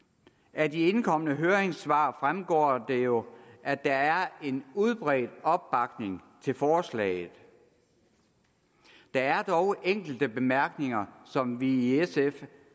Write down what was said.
af de indkomne høringssvar fremgår det jo at der er en udbredt opbakning til forslaget der er dog enkelte bemærkninger som vi i sf